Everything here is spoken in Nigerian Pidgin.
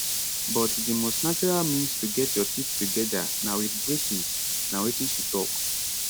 but di most natural means to get your teeth togeda na wit braces na wetin she tok